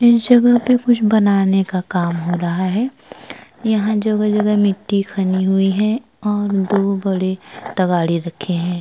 इस जगह पे कुछ बनाने का काम हो रहा है। यहाँ जगह - जगह मिट्टी खनी हुई है और दो बड़े तगाड़े रखे हैं।